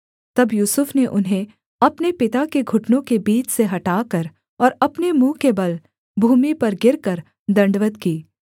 तब यूसुफ ने उन्हें अपने पिता के घुटनों के बीच से हटाकर और अपने मुँह के बल भूमि पर गिरकर दण्डवत् की